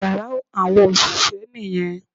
Yàrá àwọn òṣìṣẹ́ nì yan